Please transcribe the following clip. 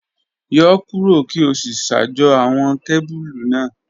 Yọ kuro ki o si ṣajọ awọn kebulu naa